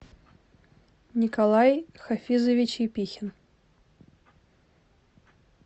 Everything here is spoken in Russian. николай хафизович епихин